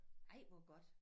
Ej hvor godt